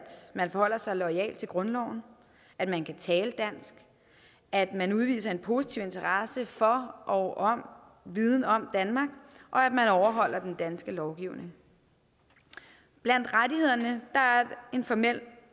man forholder sig loyalt til grundloven at man kan tale dansk at man udviser en positiv interesse for og viden om danmark og at man overholder den danske lovgivning blandt rettighederne er en formel